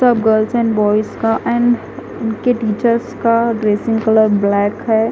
सब girls and boys का and उनके टीचर्स का ड्रेसिंग कलर ब्लैक है।